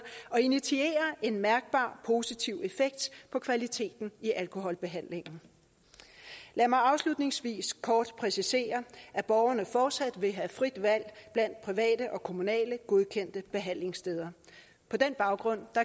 og initiere en mærkbar positiv effekt på kvaliteten i alkoholbehandlingen lad mig afslutningsvis kort præcisere at borgerne fortsat vil have frit valg blandt private og kommunale godkendte behandlingssteder på den baggrund